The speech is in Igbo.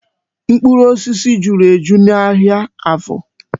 Mkpụrụ osisi juru eju n'ahịa Afọ.